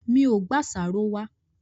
Mi ò gbé àṣàrò wá.